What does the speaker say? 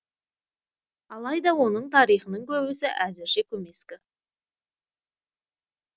алайда оның тарихының көбісі әзірше көмескі